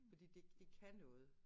Fordi det det kan noget